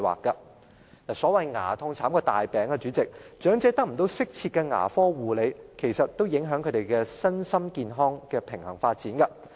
主席，所謂"牙痛慘過大病"，長者得不到適切的牙科護理，其實也影響他們身心健康的平衡發展。